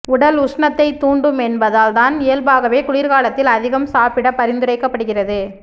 உடல் உஷ்ணத்தைத் தூண்டும் என்பதால் தான் இயல்பாகவே குளிர்குாலத்தில் அதிகம் சாப்பிட பரிந்துரைக்கப்படுகிறது